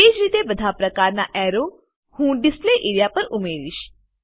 તેજ રીતે બધા પ્રકારના એરો હું ડિસ્પ્લે એરિયા પર ઉમેરીશ